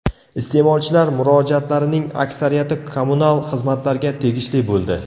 Iste’molchilar murojaatlarining aksariyati kommunal xizmatlarga tegishli bo‘ldi.